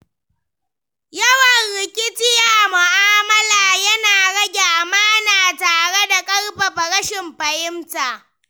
Yawan rikici a mu'amala yana rage amana tare da ƙarfafa rashin fahimta.